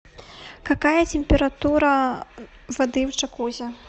какая температура воды в джакузи